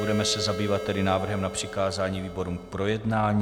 Budeme se zabývat tedy návrhem na přikázání výborům k projednání.